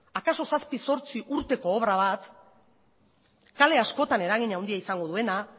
akaso zazpi zortzi urteko obra bat kale askotan eragin handia izango duena